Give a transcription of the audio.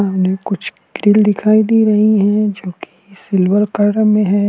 सामने कुछ ग्रिल दिखाई दे रही है जो की सिल्वर कलर में है।